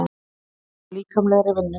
Flótta frá líkamlegri vinnu.